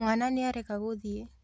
Mwana nĩarega gũthiĩ